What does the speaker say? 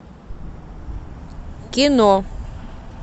кино